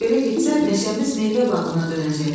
Belə getsə meşəmiz meyvə bağına dönəcək.